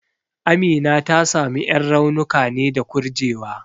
Amina ta samu ƴan raunuka ne da kurjewa.